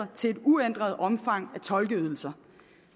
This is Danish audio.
til et uændret omfang af tolkeydelser